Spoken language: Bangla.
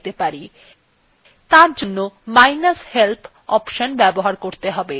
তারজন্য মাইনাস help অপশন ব্যবহার করতে হবে